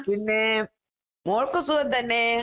പിന്നേ മോൾക്ക് സുഖം തന്നേ?